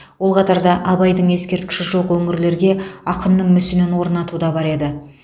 ол қатарда абайдың ескерткіші жоқ өңірлерге ақынның мүсінін орнату да бар еді